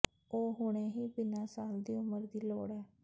ਉਹ ਹੁਣੇ ਹੀ ਬਿਨਾ ਸਾਲ ਦੀ ਉਮਰ ਦੀ ਲੋੜ ਹੈ